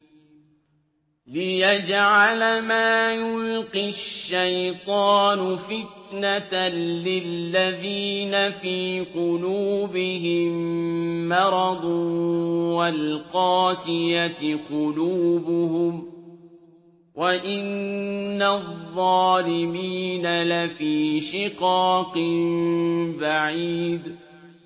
لِّيَجْعَلَ مَا يُلْقِي الشَّيْطَانُ فِتْنَةً لِّلَّذِينَ فِي قُلُوبِهِم مَّرَضٌ وَالْقَاسِيَةِ قُلُوبُهُمْ ۗ وَإِنَّ الظَّالِمِينَ لَفِي شِقَاقٍ بَعِيدٍ